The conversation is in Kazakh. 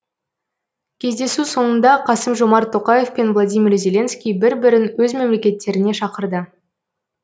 кездесу соңында қасым жомарт тоқаев пен владимир зеленский бір бірін өз мемлекеттеріне шақырды